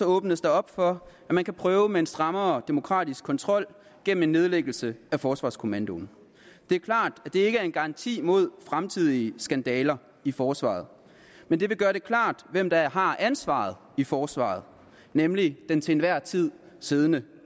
åbnes der op for at man kan prøve med en strammere demokratisk kontrol gennem en nedlæggelse af forsvarskommandoen det er klart at det ikke er en garanti imod fremtidige skandaler i forsvaret men det vil gøre det klart hvem der har ansvaret i forsvaret nemlig den til enhver tid siddende